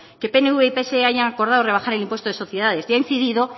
que pnv y que pse hayan acordado rebajar el impuesto de sociedades y ha incidido